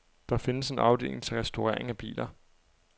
Der findes en afdeling til restaurering af biler.